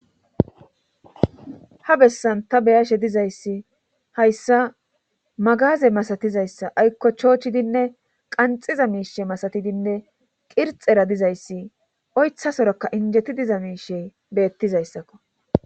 Ha bessan ta beyashe dizayssi hayssa magaze masatizayssa aykko choochidinne qanxiza miishe masatidinne qirxera dizayssi oytha soraka injeti diza miishe beettizayssakko